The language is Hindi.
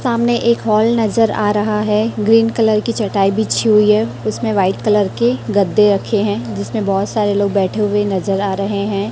सामने एक हॉल नजर आ रहा है ग्रीन कलर की चटाई बिछी हुई है उसमें व्हाइट कलर के गद्दे रखे हैं जिसमें बहुत सारे लोग बैठे हुए नजर आ रहे हैं।